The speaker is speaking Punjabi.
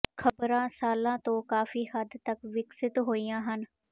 ਖ਼ਬਰਾਂ ਸਾਲਾਂ ਤੋਂ ਕਾਫ਼ੀ ਹੱਦ ਤਕ ਵਿਕਸਿਤ ਹੋਈਆਂ ਹਨ